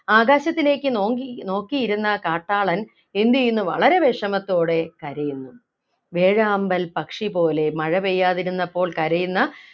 ആകാശത്തിലേക്ക് നോക്കി നോക്കിയിരുന്ന ആ കാട്ടാളൻ എന്ത് ചെയ്യുന്നു വളരെ വിഷമത്തോടെ കരയുന്നു വേഴാമ്പൽ പക്ഷി പോലെ മഴ പെയ്യാതിരുന്നപ്പോൾ കരയുന്ന